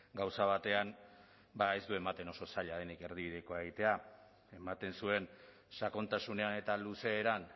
gauza batean ez du ematen oso zaila denik erdibidekoa egitea ematen zuen sakontasunean eta luzeeran